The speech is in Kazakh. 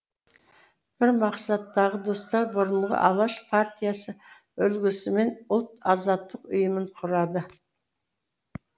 бір мақсаттағы достар бұрынғы алаш партиясы үлгісімен ұлт азаттық ұйымын құрады